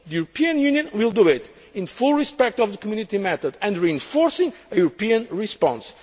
roles. The European Union will do it in full respect of the Community method and reinforcing a European response.